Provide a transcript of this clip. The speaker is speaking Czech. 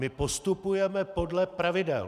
My postupujeme podle pravidel.